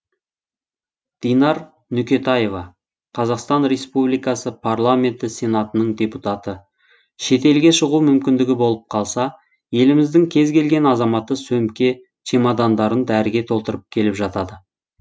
динар нүкетаева қазақстан республтикасы парламенті сенатының депутаты шетелге шығу мүмкіндігі болып қалса еліміздің кез келген азаматы сөмке чемодандарын дәріге толтырып келіп жатады